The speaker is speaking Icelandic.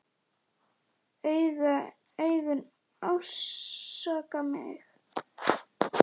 Augun ásaka mig.